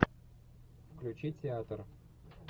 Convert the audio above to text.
включи театр